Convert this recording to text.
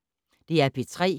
DR P3